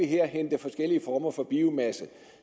kan hente forskellige former for biomasse